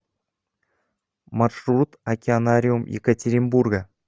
маршрут океанариум екатеринбурга